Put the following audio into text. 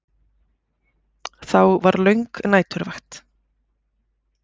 Þá var löng næturvakt.